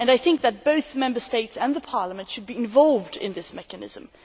I think that both Member States and Parliament should be involved in this mechanism.